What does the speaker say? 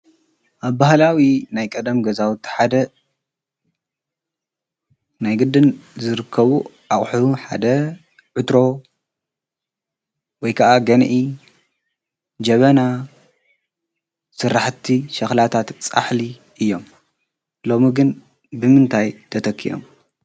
ኣብ ብሃላዊ ናይ ቀደም ገዛዊ ተሓደ ናይ ግድን ዘርከቡ ኣቝሕቡ ሓደ ዕድሮ ወይከዓ ገንኢ ጀበና ሠራሕቲ ሸኽላታትጻሕሊ እዮም ሎሚግን ብምንታይ ተተኪኦም።